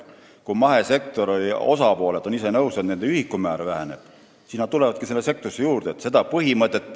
Kui mahesektor ise on nõus, et nende toetuste ühikumäär väheneb, siis tulebki sinna osalisi juurde.